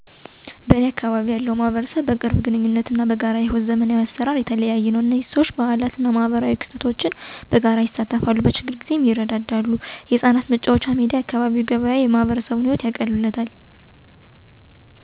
በእኔ አካባቢ ያለው ማህበረሰብ በቅርብ ግንኙነት እና በጋራ የሕይወት ዘመናዊ አሰራር የተለየ ነው። እዚህ ሰዎች አንዱን ሌላው ያውቃል፣ በበዓላት እና በማኅበራዊ ክስተቶች ላይ በጋራ ይሳተፋሉ፣ እና በስኬት ወይም በችግር ጊዜ እርስ በርስ ይረዳዋል። የጋራ የሰፈር አካላት እንደ አካባቢው መናፈሻ፣ የህጻናት መጫወቻ ሜዳ እና የአካባቢ ገበያ የማህበረሰቡን ህይወት የበለጠ ያቃልሉታል። በተጨማሪም፣ የጤና እና የትምህርት አገልግሎቶች በቀላሉ የሚገኙበት ሲሆን፣ ይህም ለሰዎች አስተማማኝ እና ምቹ አካባቢ እንዲኖራቸው ያደርጋል። በአጠቃላይ፣ የእኛ ማህበረሰብ በሰላም፣ በትብብር እና በዘመናዊ አገልግሎቶች የተለየ ነው።